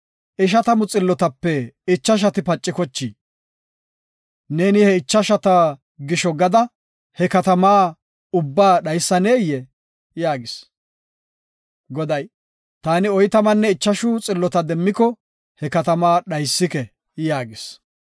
ishatamu xillotape ichashati pacikochii? Neeni he ichashata gisho gada he katama ubba dhaysaneyee?” yaagis. Goday, “Taani oytamanne ichashu xillota demmiko he katama dhaysike” yaagis.